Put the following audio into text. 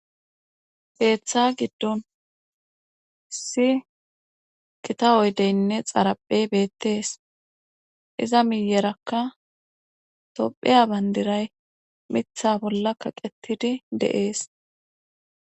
Beeththa giddon si kita oy deynne xaraphey beettees iza miyerakka topheya bandiray mitha bolla kaqetidi de"ees